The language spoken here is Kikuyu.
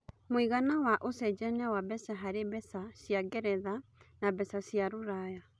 mũigana wa ũcejanĩa wa mbeca harĩ mbeca cĩa ngeretha na mbeca cĩa rũraya